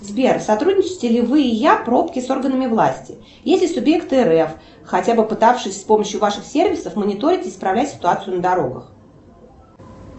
сбер сотрудничаете ли вы и я пробки с органами власти если субъекты рф хотя бы пытавшись с помощью ваших сервисов мониторить и исправлять ситуацию на дорогах